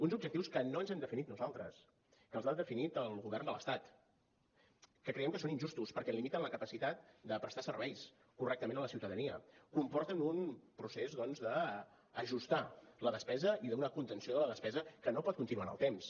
uns objectius que no ens hem definit nosaltres que els ha definit el govern de l’estat que creiem que són injustos perquè limiten la capacitat de prestar serveis correctament a la ciutadania comporten un procés doncs d’ajustar la despesa i d’una contenció de la despesa que no pot continuar en el temps